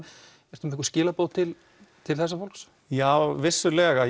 ertu með einhver skilaboð til til þessa fólks já vissulega